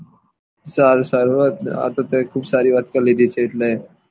સારું સારું આ તો તુયે ખુબ સારી વાત કરી લીધી છે એટલે